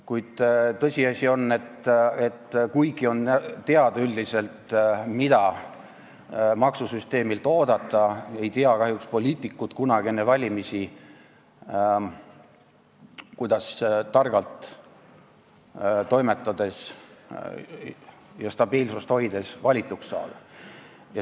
Kuid tõsiasi on, et kuigi on üldiselt teada, mida maksusüsteemilt oodata, ei tea kahjuks poliitikud kunagi enne valimisi, kuidas targalt toimetades ja stabiilsust hoides valituks saada.